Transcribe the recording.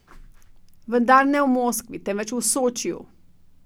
Vendar ne v Moskvi, temveč v Sočiju.